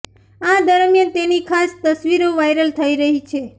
આ દરમિયાન તેની ખાસ તસવીરો વાયરલ થઇ રહી છે